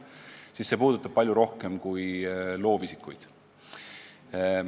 Seega probleem puudutab palju rohkemaid inimesi kui ainult loovisikuid.